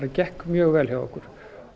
gekk mjög vel hjá okkur